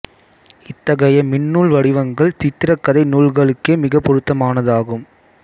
இத்தகைய மின்னூல் வடிவங்கள் சித்திரக் கதை நூல்களுக்கே மிக பொருத்தமானதாகும்